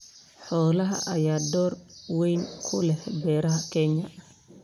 Xoolaha ayaa door weyn ku leh beeraha Kenya.